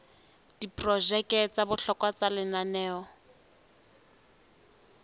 diprojeke tsa bohlokwa tsa lenaneo